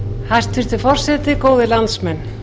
hæstvirtur forseti góðir landsmenn